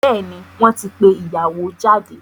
Bẹ́ẹ̀ni, wọ́n ti pé ìyàwó jáde.